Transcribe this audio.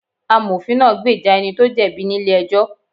Amofin náà gbèjà ẹni tó jẹ̀bi ní ilé ẹjọ́